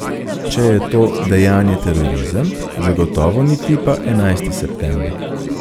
Če je to dejanje terorizem, zagotovo ni tipa enajsti september.